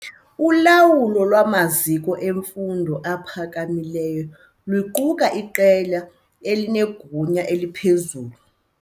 Ulawulo lwamaziko emfundo ephakamileyo luquka iqela elinegunya eliphezulu.